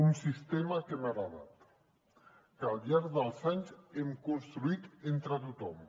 un sistema que hem heretat que al llarg dels anys hem construït entre tothom